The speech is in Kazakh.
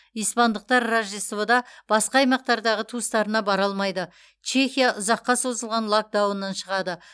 испандықтар рождествода басқа аймақтардағы туыстарына бара алмайды чехия ұзаққа созылған локдауннан шығады